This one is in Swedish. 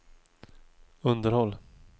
underhåll